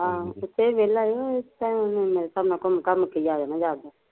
ਹਾ ਓਥੇ ਵੀ ਵੇਹਲਾ ਈ ਇਸ ਟੈਮ ਉਹਨੇ ਮੇਰੇ ਹਿਸਾਬ ਨਾਲ਼ ਘੁਮ ਘਮ ਕੇ ਈ ਆ ਜਾਣਾ ਜਾਗੋ